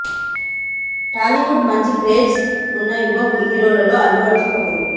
టాలీవుడ్ మంచి క్రేజ్ ఉన్న యువ హీరోల్లో అల్లు అర్జున్ ఒకరు